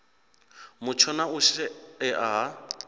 mutsho na u shaea ha